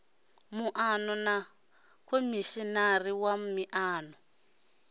muano na khomishinari wa miano